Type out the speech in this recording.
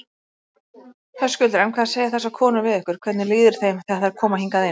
Höskuldur: En hvað segja þessar konur við ykkur, hvernig líður þeim þegar þær koma hingað?